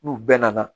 N'u bɛɛ nana